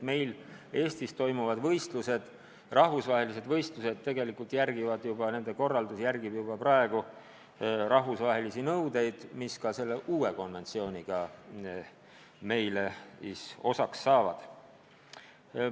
Meil Eestis toimuvatel rahvusvahelistel võistlustel tegelikult juba järgitakse rahvusvahelisi nõudeid, mis ka selles uues konventsioonis sisalduvad.